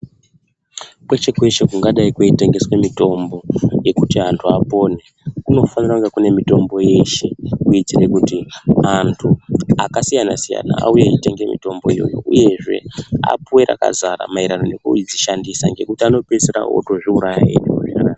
Kweshe-kweshe kungadai kweitengeswe mitombo yekuti antu apone. Kunofanira kunge kune mitombo yeshe kuitire kuti antu akasiyana-siyana auye ngemitombo iyoyo, uyezve apuve rakazara maererano nekudzishandisa nekuti anopedzisira otozviuraya.